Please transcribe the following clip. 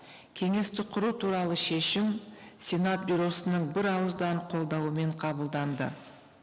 кеңесті құру туралы шешім сенат бюросының бір ауыздан қолдауымен қабылданды